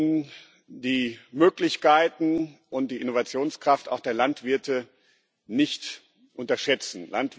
Wir sollten die Möglichkeiten und die Innovationskraft auch der Landwirte nicht unterschätzen.